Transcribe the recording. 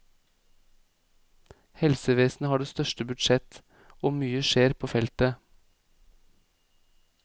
Helsevesenet har det største budsjett og mye skjer på feltet.